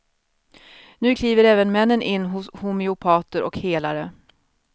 Nu kliver även männen in hos homeopater och helare.